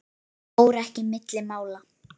Það fór ekki milli mála.